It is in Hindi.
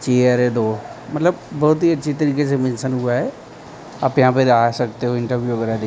चेयर है दो मतलब बहुत ही अच्छी तरीके से मेंशन हुआ है आप यहां पे आ सकते हो इंटरव्यू वगैरा दे--